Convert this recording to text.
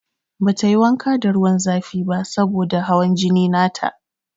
Bata yi wanka da ruwan zafi ba saboda da hawan jini na ta.